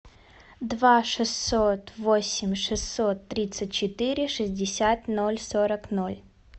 два шестьсот восемь шестьсот тридцать четыре шестьдесят ноль сорок ноль